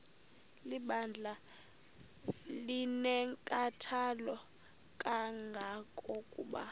lebandla linenkathalo kangangokuba